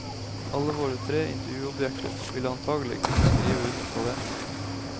Alle våre tre intervjuobjekter ville antagelig kunne skrive under på det.